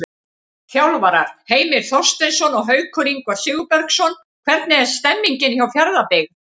Þjálfarar: Heimir Þorsteinsson og Haukur Ingvar Sigurbergsson Hvernig er stemningin hjá Fjarðabyggð?